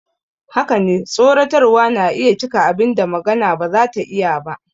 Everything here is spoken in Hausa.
Haka ne, tsoratarwa na iya cika abin da magana ba za ta iya ba.